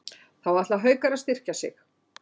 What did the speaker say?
Þá ætla Haukar að styrkja sig.